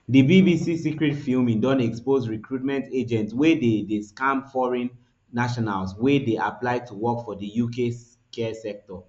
di bbc secret filming don expose recruitment agents wey dey dey scam foreign nationals wey dey apply to work for di uk care sector